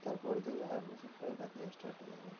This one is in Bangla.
তারপর থেকে admission টা এখান থেকে start হয়ে যাবে